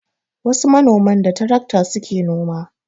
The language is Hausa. Wasu manoman da tarakta su ke noma